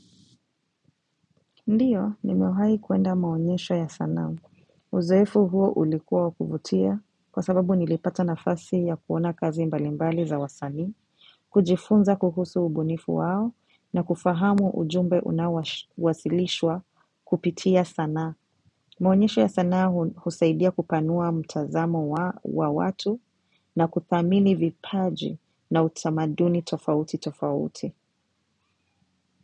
Ndio, nimewahi kuenda maonyesho ya sana. Uzoefu huo ulikuwa wa kuvutia kwa sababu nilipata nafasi ya kuona kazi mbalimbali za wasanui, kujifunza kuhusu ubunifu wao na kufahamu ujumbe unawasilishwa kupitia sana. Maonyesho ya sana husaidia kupanua mtazamo wa watu na kuthamini vipaji na utamaduni tofauti tofauti.